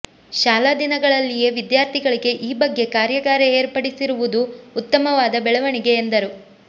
ಶಾಲಾ ದಿನಗಳಲ್ಲಿಯೇ ವಿದ್ಯಾರ್ಥಿಗಳಿಗೆ ಈ ಬಗ್ಗೆ ಕಾರ್ಯಾಗಾರ ಏರ್ಪಡಿಸಿರು ವುದು ಉತ್ತಮವಾದ ಬೆಳವಣಿಗೆ ಎಂದರು